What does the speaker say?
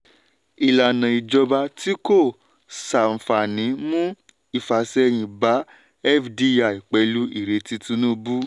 ìlànà ìjọba tí kò ṣàǹfààní mú ìfàsẹyìn bá fdi pẹ̀lú ìrètí tinubu.